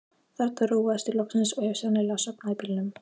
Þarna róaðist ég loksins og hef sennilega sofnað í bílnum.